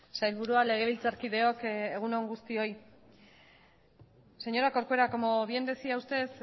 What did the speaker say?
sailburua legebiltzarkideok egun on guztioi señora corcuera como bien decía usted